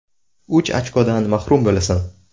Uch ochkodan mahrum bo‘lasan.